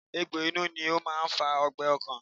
Egbò inú ni ó máa ń fa ọgbẹ́ ọkàn